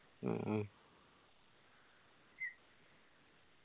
മ്മ്